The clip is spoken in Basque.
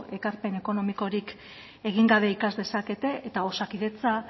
ekarpen ekonomikorik egin gabe ikas dezakete eta osakidetza